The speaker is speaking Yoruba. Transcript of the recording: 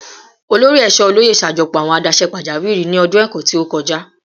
Olori Eesho Oloye ṣajọpọ awọn adaṣe pajawiri ni ọdun ẹkọ ti o kọja